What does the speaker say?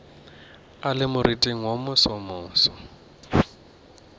a le moriting wo mosomoso